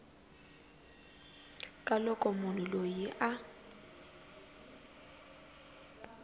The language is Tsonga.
ka loko munhu loyi a